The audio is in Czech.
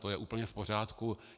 To je úplně v pořádku.